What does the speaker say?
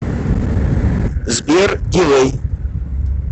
сбер дилэй